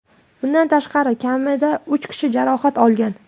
Bundan tashqari, kamida uch kishi jarohat olgan.